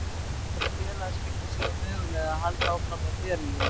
Bíða eftir að félagaskipti séu möguleg eða halda áfram með ferilinn minn?